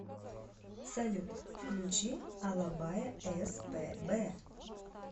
салют включи алабая эс пэ бэ